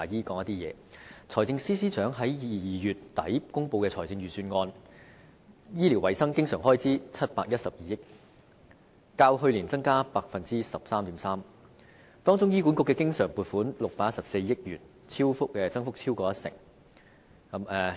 在財政司司長於2月底公布的財政預算案中，醫療衞生經常開支為712億元，較去年增加 13.3%， 當中醫院管理局的經常撥款為614億元，增幅超過一成。